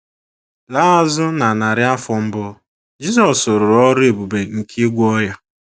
Laa azụ na narị afọ mbụ, Jisọs rụrụ ọrụ ebube nke ịgwọ ọrịa.